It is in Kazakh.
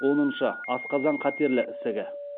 оныншы асқазан қатерлі ісігі